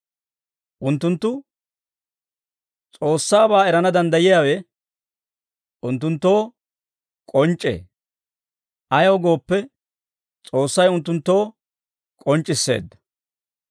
Unttunttu S'oossaabaa erana danddayiyaawe unttunttoo k'onc'c'ee; ayaw gooppe, S'oossay unttunttoo k'onc'c'isseedda.